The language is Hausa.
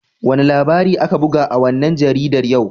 Wane labari aka buga a wannan jaridar yau?